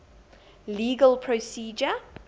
legal procedure